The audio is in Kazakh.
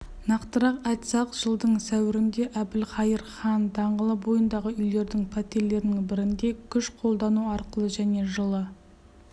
нақтырақ айтсақ жылдың сәуірінде әбілқайыр хан даңғылы бойындағы үйлердің пәтерлерінің бірінде күш қолдану арқылы және жылы